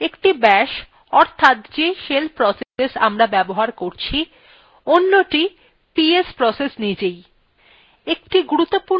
একটি bash অর্থাৎ যে shell process আমরা ব্যবহার করছি অন্যটি ps process নিজেই